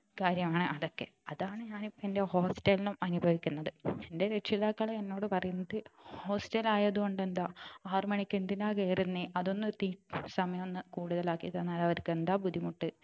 കാര്യമാണ് അതൊക്കെ അതാണ് ഞാൻ ഇപ്പൊ എന്റെ hostel ൽന്നും അനുഭവിക്കുന്നത് എന്റെ രക്ഷിതാക്കൾ എന്നോട് പറയുന്നത് hostel ആയത് കൊണ്ട് എന്താ ആറു മണിക്ക് എന്തിനാ കയറുന്നേ അതൊന്നു തി സമയം ഒന്ന് കൂടുതൽ ആക്കി തന്നാൽ അവർക്ക് എന്താ ബുദ്ധിമുട്ട്